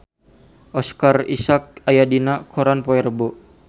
Oscar Isaac aya dina koran poe Rebo